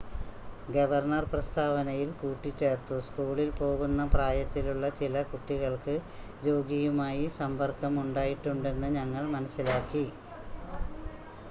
"Governor പ്രസ്‌താവനയിൽ കൂട്ടിച്ചേർത്തു "സ്കൂളിൽ പോകുന്ന പ്രായത്തിലുള്ള ചില കുട്ടികൾക്ക് രോഗിയുമായി സമ്പർക്കം ഉണ്ടായിട്ടുണ്ടെന്ന് ഞങ്ങൾ മനസ്സിലാക്കി.""